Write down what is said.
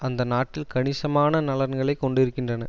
அந்த நாட்டில் கணிசமான நலன்களை கொண்டிருக்கின்றன